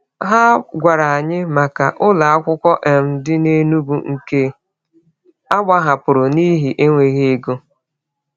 Ha gwara anyị maka ụlọ akwụkwọ um dị n’Enugwu nke a gbahapụrụ n’ihi enweghị ego.